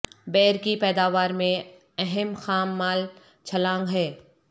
beer کی پیداوار میں اہم خام مال چھلانگ ہے